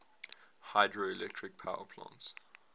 hydroelectric power plants